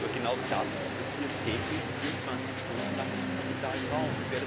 Aber genau das passiert täglich 24 Stunden lang im digitalen Raum.